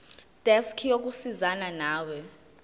desk yokusizana nawe